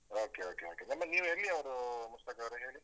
Okay, okay, okay ಮತ್ತೆ ನೀವ್ ಎಲ್ಲಿಯವರು ಮುಸ್ತಾಕ್ ಅವರೇ ಹೇಳಿ?